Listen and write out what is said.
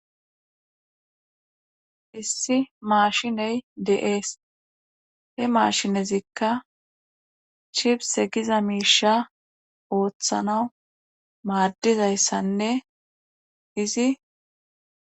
issi maashiney de'ees he maashinezikka chifse giza miisha ooththana maaddizayssanne izi